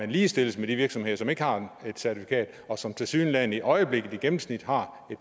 ligestilles med de virksomheder som ikke har et certifikat og som tilsyneladende i øjeblikket i gennemsnit har